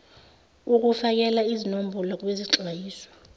ukufakela izinombolo kwizixwayiso